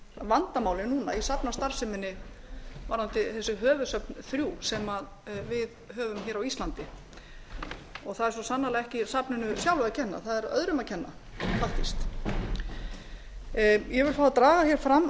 vandamálið núna í safnastarfseminni varðandi þessi höfuðsöfn þrjú sem við höfum hér á íslandi það er svo sannarlega ekki safninu sjálfu að kenna það er öðrum að kenna faktískt ég vil fá að draga hér fram áður en ég